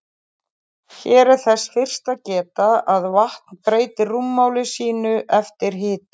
Hér er þess fyrst að geta að vatn breytir rúmmáli sínu eftir hita.